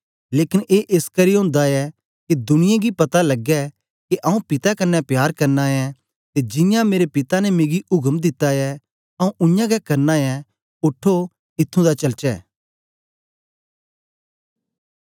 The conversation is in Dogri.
लेकन ए एसकरी ओंदा ऐ के दुनियें गी पता लगे के आऊँ पिता कन्ने प्यार करना ऐं ते जियां मेरे पिता ने मिगी उक्म दिता ऐ आऊँ उयांगै करना ऐं उठो ईथुं दा चलचे